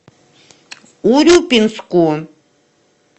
урюпинску